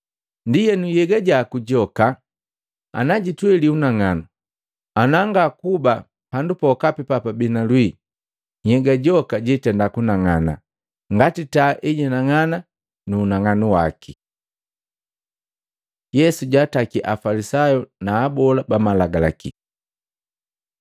Ndienu, nhyega jaku joka najitweli unang'anu, ana ngakuba pandu pokapi papabii na lwii nhyega joka jiitenda kunang'ana ngati taa ejinang'ana na unang'anu waki.” Yesu jaataki Mafalisayu na abola ba Malagalaki Matei 23:1-36; Maluko 12:38-40